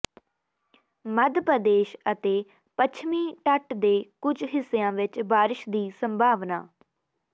ਮੱਧ ਪ੍ਰਦੇਸ਼ ਅਤੇ ਪੱਛਮੀ ਤੱਟ ਦੇ ਕੁਝ ਹਿੱਸਿਆਂ ਵਿੱਚ ਬਾਰਸ਼ ਦੀ ਸੰਭਾਵਨਾ